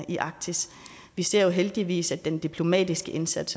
i arktis vi ser jo heldigvis at den diplomatiske indsats